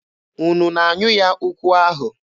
Unu na-anyụ ya ụkwụ ahụ?